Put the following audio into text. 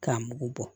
K'a mugu bɔ